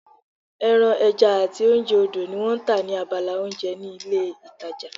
Ẹran, ẹja àti oúnjẹ odò ni wọ́n tà ní abala oúnjẹ ní ilé ìtajà